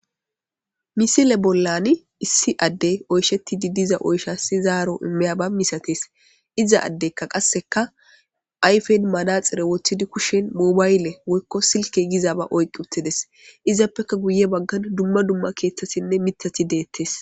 misile bollani issi addey oyshetti didiza oyshassi zaaro immeyaba misatees iza addeykka qasseka ayfen manaxire woththidi kushen mubaayle woykko silke gizaaba oyqi uttides izappeka guye baggan dumma dumma keeththasinne mithati deettes